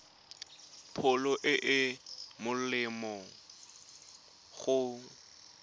pholo e e molemo go